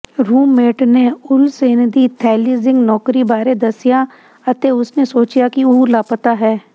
roommate ਨੇ Olsen ਦੀ ਥੈਲੀਜ਼ਿੰਗ ਨੌਕਰੀ ਬਾਰੇ ਦੱਸਿਆ ਅਤੇ ਉਸਨੇ ਸੋਚਿਆ ਕਿ ਉਹ ਲਾਪਤਾ ਹੈ